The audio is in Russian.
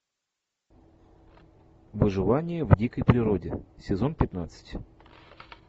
выживание в дикой природе сезон пятнадцать